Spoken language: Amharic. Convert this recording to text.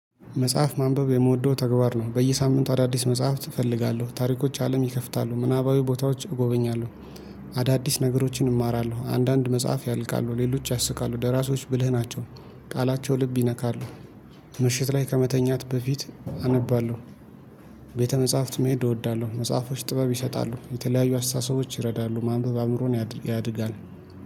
መጽሐፍ ማንበብ የምወደው ተግባር ነው በየሳምንቱ አዳዲስ መጽሐፍት እፈልጋለሁ ታሪኮች አለም ይከፍታሉ ምናባዊ ቦታዎች እጎበኛለሁ። አዳዲስ ነገሮችን እማራለሁ አንዳንድ መጽሐፍ ያልቃሉ ሌሎች ያስቃሉ ደራሶች ብልህ ናቸው። ቃላቸው ልብ ይነካሉ። ምሽት ላይ ከመተኛት በፊት አነባለሁ። ቤተ መጽሐፍት መሄድ እወዳለሁ። መጽሐፎች ጥበብ ይሰጣሉ የተለያዩ አስተሳሰቦች ይረዳሉ ማንበብ አእምሮን ያድጋል